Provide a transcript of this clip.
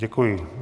Děkuji.